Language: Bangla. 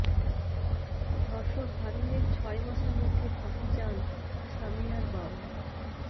ধর্ষক হারুনের ছয় মাসের মধ্যে ফাঁসি চান সামিয়ার বাবা